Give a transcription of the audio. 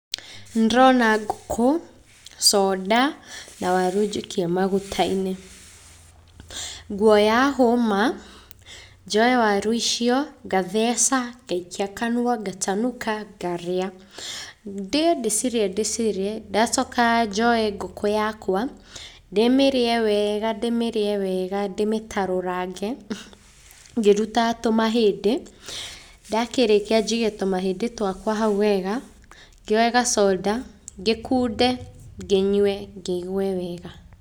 Nĩ ndĩrona ngũkũ, coNda, na waru njikie maguta-inĩ, ngwoya hũma, njoye waru icio, ngatheca, ngaikia kanua, katanuka, ngarĩa, ndĩe, ndĩcirĩe, ndĩcirĩe, ndacoka njoye ngũkũ yakwa, ndĩmĩrĩe wega, ndĩmĩrĩe wega, ndĩmĩtarurange, ngĩrutaga tũmahĩndĩ, ndakĩrĩkia njige tũmahĩndĩ twakwa hau wega, ngĩoye gacoda, ngĩkunde ngĩnywe, ngĩigwe wega.